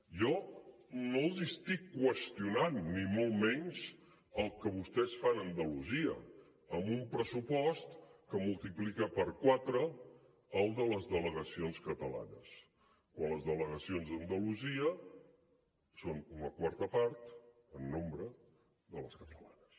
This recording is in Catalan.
jo no els estic qüestionant ni molt menys el que vostès fan a andalusia amb un pressupost que multiplica per quatre el de les delegacions catalanes quan les delegacions d’andalusia són una quarta part en nombre de les catalanes